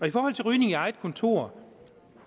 i forhold til rygning i eget kontor